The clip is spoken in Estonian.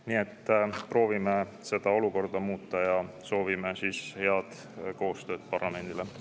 Nii et proovime seda olukorda muuta ja soovime head koostööd parlamendile.